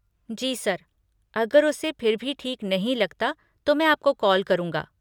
जी sir, अगर उसे फिर भी ठीक नहीं लगता तो मैं आपको कॉल करूँगा।